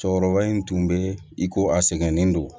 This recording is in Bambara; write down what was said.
Cɛkɔrɔba in tun bɛ i ko a sɛgɛnnen don